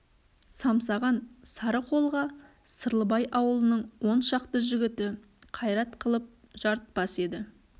самсаған сары қолға сырлыбай ауылының он шақты жігіті қайрат қылып жарытпас еді